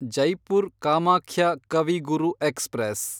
Jaipur Kamakhya Kavi Guru express